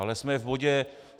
Ale jsme v bodě